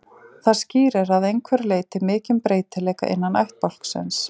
Það skýrir að einhverju leyti mikinn breytileika innan ættbálksins.